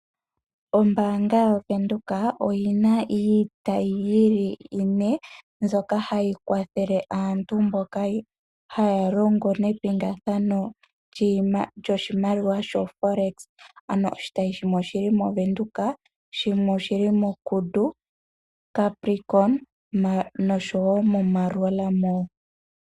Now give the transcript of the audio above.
Ombaanga yavenduka oyina iitayi yi li ine, mbyoka hayi kwathele aantu mboka haya longo nepingathano lyoshimaliwa sho Forex. Oshitayi shimwe oshili movenduka, shimwe oshili mo Kudu, Capricorn, noshowo mo Mareua Mall.